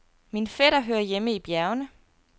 Min fætter hører hjemme i bjergene.